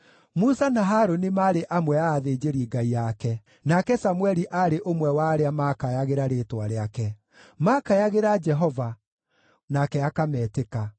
Musa na Harũni maarĩ amwe a athĩnjĩri-Ngai ake, nake Samũeli aarĩ ũmwe wa arĩa maakayagĩra rĩĩtwa rĩake; maakayagĩra Jehova nake akametĩka.